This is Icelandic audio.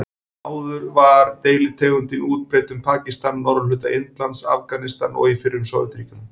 Áður var deilitegundin útbreidd um Pakistan, norðurhluta Indlands, Afganistan og í fyrrum Sovétríkjunum.